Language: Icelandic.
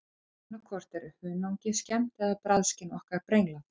Annað hvort er hunangið skemmt eða bragðskyn okkar brenglað.